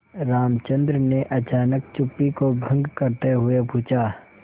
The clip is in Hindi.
रामचंद्र ने अचानक चुप्पी को भंग करते हुए पूछा